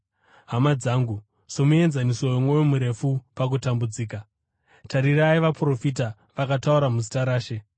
Hama dzangu, somuenzaniso womwoyo murefu pakutambudzika, tarirai vaprofita vakataura muzita raShe.